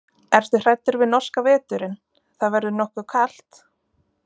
Ertu hræddur við norska veturinn, það verður nokkuð kalt?